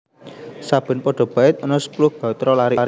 Saben pada bait ana sepuluh gatra larik